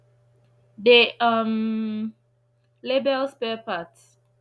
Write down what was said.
dey um label spare parts